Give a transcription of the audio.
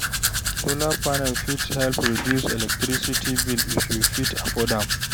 Solar panel fit help reduce electricity bill if you fit afford am.